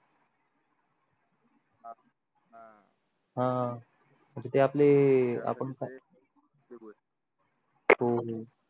हान म्हणजे ते आपले आपण हो हो